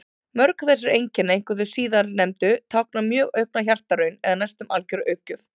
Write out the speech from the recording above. Mörg þessara einkenna, einkum þau síðastnefndu, tákna mjög aukna hjartaraun eða næstum algjöra uppgjöf.